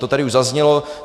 To tady už zaznělo.